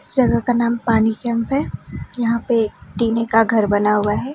इस जगह का नाम पानी कैंप है यहां पे टीने का घर बना हुआ है।